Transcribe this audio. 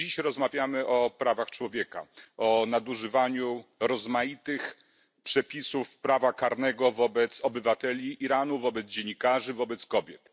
Rozmawiamy dziś o prawach człowieka, o nadużywaniu rozmaitych przepisów prawa karnego wobec obywateli Iranu, wobec dziennikarzy, wobec kobiet.